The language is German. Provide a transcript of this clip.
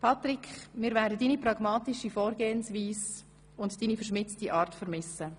Patric, wir werden deine pragmatische Vorgehensweise und deine verschmitzte Art vermissen.